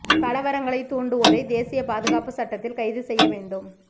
கலவரங்களை தூண்டுவோரை தேசியப் பாதுகாப்பு சட்டத்தில் கைது செய்ய வேண்டும்